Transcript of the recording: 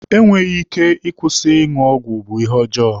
Enweghị ike ịkwụsị ịṅụ ọgwụ bụ ihe ọjọọ.